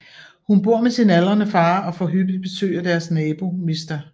Hun bor med sin aldrende far og får hyppigt besøg af deres nabo mr